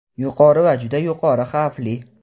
yuqori va juda yuqori xavfli.